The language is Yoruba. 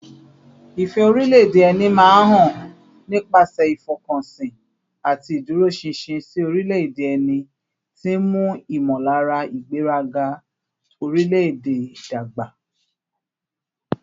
Ìfẹ́ orílẹ̀-èdè ẹni máa ń hàn nípasẹ̀ ìfọkànsìn àti ìdúróṣinṣin sí orílẹ̀-èdè ẹni, tí ń mú ìmọ̀lára ìgbéraga orílẹ̀-èdè dàgbà